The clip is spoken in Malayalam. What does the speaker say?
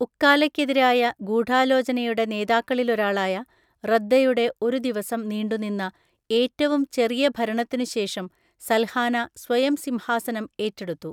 ഉക്കാലയ്‌ക്കെതിരായ ഗൂഢാലോചനയുടെ നേതാക്കളിലൊരാളായ റദ്ദയുടെ ഒരു ദിവസം നീണ്ടുനിന്ന, ഏറ്റവും ചെറിയ ഭരണത്തിനുശേഷം സൽഹാന സ്വയം സിംഹാസനം ഏറ്റെടുത്തു.